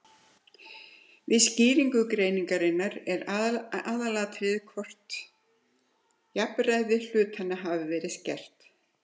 Við skýringu greinarinnar er aðalatriðið það hvort jafnræði hluthafanna hafi verið skert.